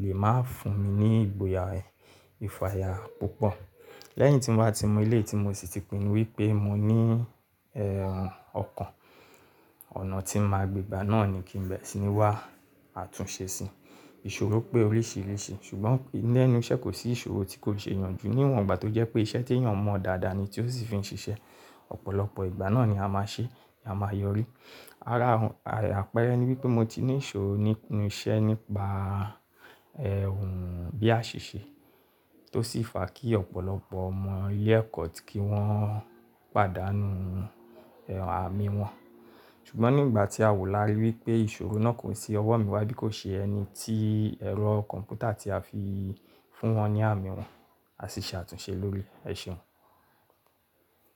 lè máa fún mi ní ìgboyà, ìfàyà púpọ̀. Lẹ́yìn tí mo bá ti mọ eléyìí tí mo sì ti pinnu wípé mo ní ọkàn, ọ̀nà tí n màá gbé gbà náà ni kí n bẹ̀rẹ̀ sì ni wá átúnṣe si. Ìṣòro pé oríṣìíríṣìí ṣùgbọ́n lẹ́nu iṣẹ́ kò sí ìṣòro tí kò ṣe yanjú níwọ̀n ìgbà tí ó jẹ́ pé iṣẹ́ tí èèyàn mọ̀ dáadáa ni tí ó sì fi ń ṣiṣẹ́. Ọ̀pọ̀lọpọ̀ ìgbà náà ni a máa ṣe, a máa yọrí. Ara àpẹrẹ ni wípé mo ti ní ìṣòro nípa iṣẹ́ nípa, bí a aṣiṣe tó sì fà kí ọ̀pọ̀lọpọ̀ ọmọ ilé ẹ̀kọ́ ti kí wọ́n pàdánù àmì wọn. Ṣùgbọ́n nígbà tí a wò lárí wípé ìṣòro náà kò tí ọwọ́ mi wá bí kò ṣe ẹni tí ẹ̀rọ kọ̀m̀pútà tí a fi fún wọn ní àmì wọn, a sì ṣe àtúnṣe lórí, ẹ ṣeun.